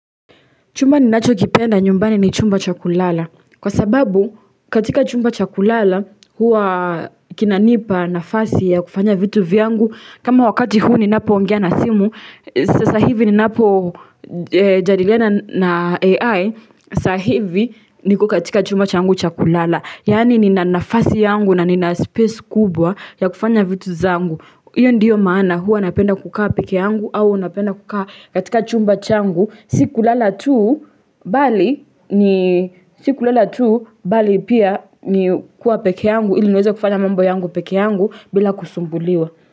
Chumba ninachokipenda nyumbani ni chumba cha kulala. Kwa sababu katika chumba cha kulala huwa kinanipa nafasi ya kufanya vitu vyangu. Kama wakati huu ninapoongea na simu. Sasa hivi ninapojadiliana na AI. Sasa hivi niko katika chumba changu cha kulala. Yaani nina nafasi yangu na nina space kubwa ya kufanya vitu zangu. Hiyo ndiyo maana huwa napenda kukaa peke yangu au napenda kukaa katika chumba changu. Si kulala tu bali ni sikulala tu bali pia ni kuwa peke yangu ili niweze kufanya mambo yangu peke yangu bila kusumbuliwa.